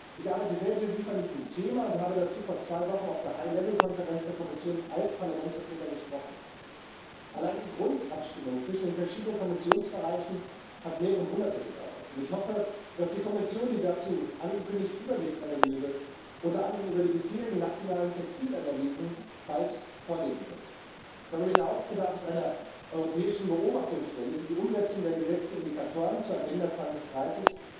Ich arbeite sehr intensiv an diesem Thema und habe dazu vor zwei Wochen auf der High Level —Konferenz der Kommission als Parlamentsvertreter gesprochen. Allein die Grundabstimmung zwischen den verschiedenen Kommissionsbereichen hat mehrere Monate gedauert, und ich hoffe, dass die Kommission die dazu angekündigte Übersichtsanalyse, unter anderem über die bisherigen nationalen Textilanalysen, bald vorlegen wird. Darüber hinaus bedarf es einer europäischen Beobachtungsstelle, die die Umsetzung der gesetzten Indikatoren zur Agenda 2030